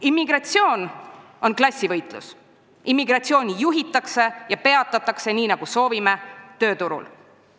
Immigratsioon on klassivõitlus, immigratsiooni juhitakse ja peatatakse – nii nagu soovime – tööturul.